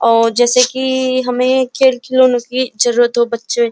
और जैसे कि हमें खेल खिलौने की जरुरत हो बच्चे --